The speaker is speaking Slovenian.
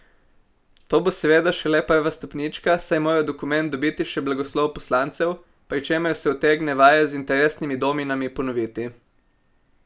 To bo seveda šele prva stopnička, saj mora dokument dobiti še blagoslov poslancev, pri čemer se utegne vaja z interesnimi dominami ponoviti.